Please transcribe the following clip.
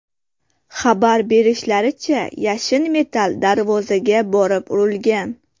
Xabar berishlaricha, yashin metall darvozaga borib urilgan.